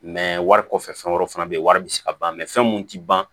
wari kɔfɛ fɛn wɛrɛ fana be yen wari bi se ka ban fɛn mun ti ban